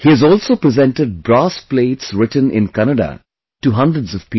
He has also presented brass plates written in Kannada to hundreds of people